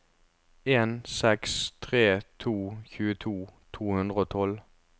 en seks tre to tjueto to hundre og tolv